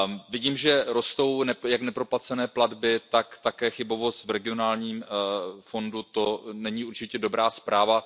Vidím, že rostou jak neproplacené platby, tak také chybovost v regionálním fondu, to není určitě dobrá zpráva.